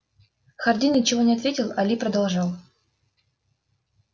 хардин ничего не ответил а ли продолжал